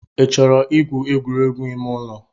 Ị chọrọ igwu egwuregwu ime ụlọ?